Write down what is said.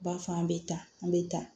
B'a fɔ an bɛ taa an bɛ taa